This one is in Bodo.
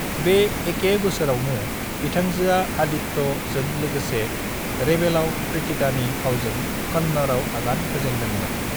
बे एके बोसोरावनो बिथांजोआ आदित्य जों लोगोसे रेबेलाव प्रीतिकानि फावजों कन्नड़आव आगान होजेनदों मोन।